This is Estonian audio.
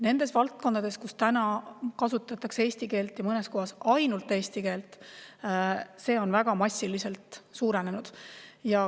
Nendes valdkondades, kus kasutatakse eesti keelt, ja mõnes kohas ainult eesti keelt, on see väga massiliselt suurenenud.